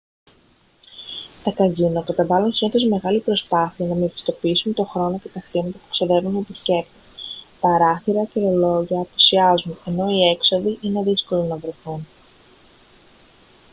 τα καζίνο καταβάλλουν συνήθως μεγάλη προσπάθεια να μεγιστοποιήσουν τον χρόνο και τα χρήματα που ξοδεύουν οι επισκέπτες παράθυρα και ρολόγια απουσιάζουν ενώ οι έξοδοι είναι δύσκολο να βρεθούν